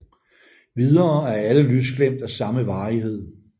Videre er alle lysglimt af samme varighed